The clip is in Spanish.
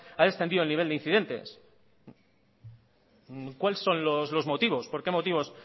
ha descendido el nivel de incidentes cuáles son los motivos por qué motivos